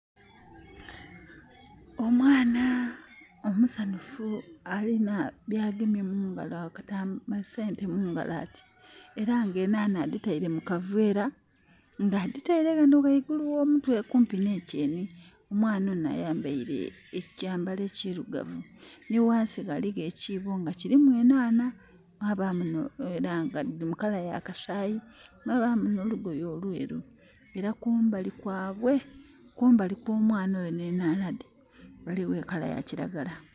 Omwana omusanhufu alina byagemye mungalo, ensente mungalo ati. Era nga enhaanha adhitaile mu kaveera nga adhitaile ghano ghaigulu gh'omutwe kumpi n'ekyeni. Omwana onho ayambaile ekyambalo ekirugavu. Nhi ghansi ghaligho ekiibo nga kilimu enhaanha. Mwabamu era nga dhili mu colour ya kasaayi. Mwabaamu n'olugoye olwelu. Era kumbali kwabwe, kumbali kw'omwana oyo n'enhaanha dhe ghaligho e colour ya kiragala.